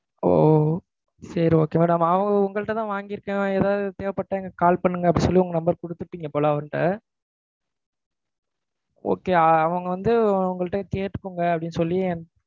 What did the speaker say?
ஒ சரி okay madam. அவன் உங்கள்ட்ட தான் வாங்கியிருக்கேன், ஏதாவது தேவப்பட்டா எனக்கு call பண்ணுங்க அப்படின்னு சொல்லிட்டு number குடுத்துர்ப்பீங்க போல அவர்ட்ட. okay, அவங்க வந்து உங்கள்ட்டையும் கேட்டுக்கோங்க அப்படின்னு சொல்லி என்~